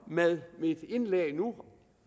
med mit indlæg nu